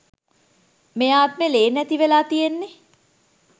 මේ ආත්මෙ ලේ නැතිවෙලා තියෙන්නෙ.